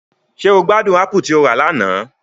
Ṣe o gbadun apù ti o ra lana?